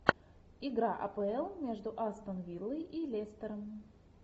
игра апл между астон виллой и лестером